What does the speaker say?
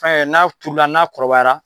n'a turula, n'a kɔrɔbayara